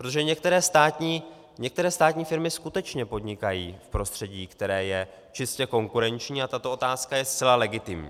Protože některé státní firmy skutečně podnikají v prostředí, které je čistě konkurenční, a tato otázka je zcela legitimní.